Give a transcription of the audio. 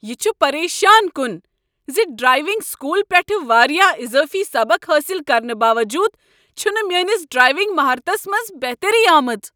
یہ چھ پریشان کن ز ڈرائیونگ سکول پیٹھٕ واریاہ اضٲفی سبق حٲصل کرنہٕ باووٚجوٗد چھ نہٕ میٲنِس ڈرٛایونگ مہارتس منٛز بہتری آمٕژ۔